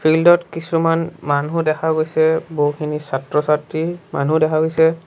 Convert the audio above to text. Field ত কিছুমান মানুহ দেখা গৈছে বহুখিনি ছাত্ৰ ছাত্ৰী মানুহ দেখা গৈছে।